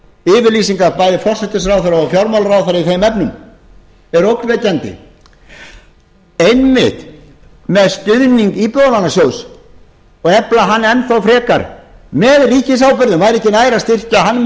yfirlýsingar bæði forsætisráðherra og fjármálaráðherra í þeim efnum eru ógnvekjandi einmitt með stuðning íbúðalánasjóðs og efla hann enn þá frekar með ríkisábyrgðum væri ekki nær að styrkja hann með